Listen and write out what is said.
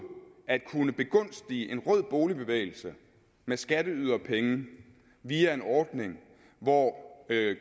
at kunne begunstige en rød boligbevægelse med skatteyderpenge via en ordning hvor